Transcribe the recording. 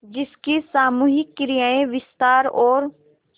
जिसकी सामूहिक क्रियाएँ विस्तार और